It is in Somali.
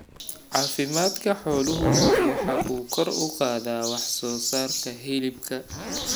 Caafimaadka xooluhu waxa uu kor u qaadaa wax soo saarka hilibka.